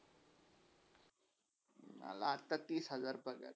मला आता तीस हजार पगार हाय.